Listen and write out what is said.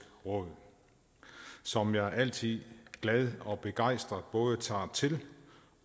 råd som jeg altid glad og begejstret både tager til